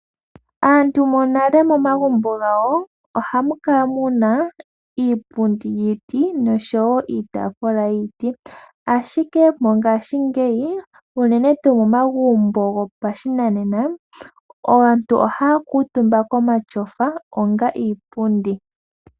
Aantu monale momagumbo gawo ohamu kala muna iipundi yiti noshowo iitafula yiiti , ashike ngashingeyi uunene tu momagumbo gwo pashinanena aantu oha kutumba komashofa onga iipundi.